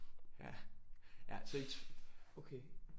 Ja ja okay